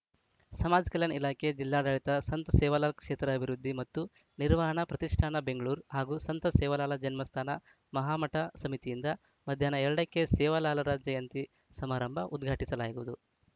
ಸಮಾಜ ಕಲ್ಯಾಣ ಇಲಾಖೆ ಜಿಲ್ಲಾಡಳಿತ ಸಂತ ಸೇವಾಲಾಲ್‌ ಕ್ಷೇತ್ರ ಅಭಿವೃದ್ಧಿ ಮತ್ತು ನಿರ್ವಹಣಾ ಪ್ರತಿಷ್ಟಾನ ಬೆಂಗಳೂರು ಹಾಗೂ ಸಂತ ಸೇವಾಲಾಲ್‌ ಜನ್ಮಸ್ಥಾನ ಮಹಾಮಠ ಸಮಿತಿಯಿಂದ ಮಧ್ಯಾಹ್ನ ಎರಡ ಕ್ಕೆ ಸೇವಾಲಾಲ್‌ರ ಜಯಂತಿ ಸಮಾರಂಭ ಉದ್ಘಾಟಿಸಲಾಗುವುದು